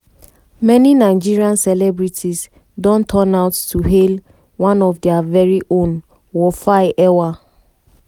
many nigerian celebrities don turn out to hail one of dia veri own wofai ewa